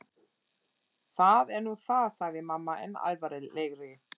Það er nú það sagði mamma enn alvarlegri.